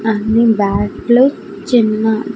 అన్ని బ్యాట్లు చిన్న--